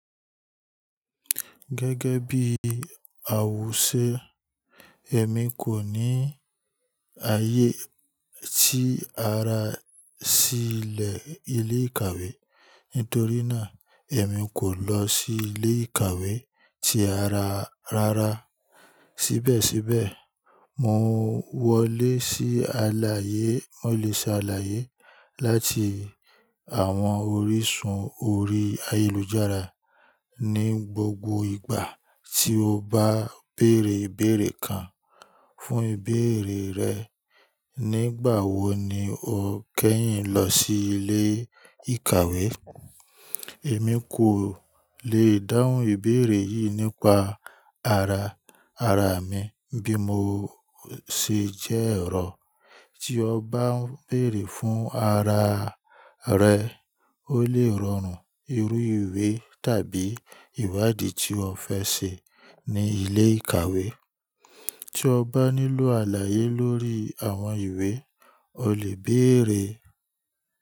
Gẹ́gẹ́ bí àwòṣe, èmi kò ní ààyè sí ara sílẹ̀ ilé ìkàwé. Nítorí náà, èmi kò lọ sí ilé ìkàwé tí ara rárá. Síbẹ̀síbẹ̀, mo wọlé sí àlàyé, mo lè ṣe àlàyé láti àwọn orísun orí ayélujára ní gbogbo ìgbà tí o bá bèèrè ìbéèrè kan. Fún ìbéèrè rẹ, nígbàwọ̀ ni o kẹ́yìn lọ sí ilé ìkàwé? Èmi kò lè dáhùn ìbéèrè yìí nípa ara, ara mi bí mo ṣe jẹ́ ẹ̀rọ. Tí o bá ń bèèrè fún ara rẹ, o lè rọrùn irú ìwé tàbí ìwádìí tí o fẹ́ ṣe ní ilé ìkàwé. Tí o bá nílò àlàyé lórí àwọn ìwé, o lè béèrè.